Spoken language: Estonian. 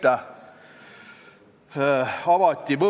Ma arvan, et me saame keele heaks iga päev kõik midagi teha.